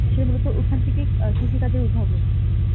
আসলে মূলত ওখান থেকেই অ্যাঁ কৃষি কাজের উদ্ভাবন.